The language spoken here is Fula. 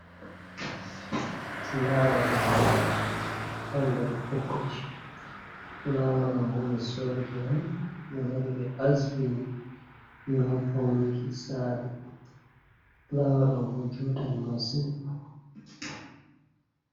Fulawa ɗo joɗi ha nder bokoti, fulawa ɗo bo ɓe sodi on ɓe lori ɓe asbini. Ngam faunuki sare fulawa ɗoo bo juutan masin.